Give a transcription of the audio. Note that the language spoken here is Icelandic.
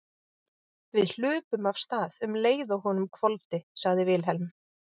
Við hlupum af stað um leið og honum hvolfdi, sagði Vilhelm.